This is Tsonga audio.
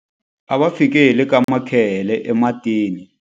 A va fike hi le ka makhehele ematini.